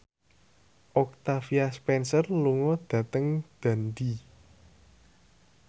Octavia Spencer lunga dhateng Dundee